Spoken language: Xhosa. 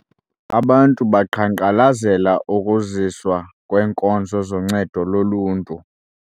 Abantu baqhankqalazela ukuziswa kweenkonzo zoncedo loluntu.